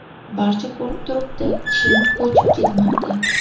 Barcha ko‘rib turibdi chim ko‘chiib ketmoqda.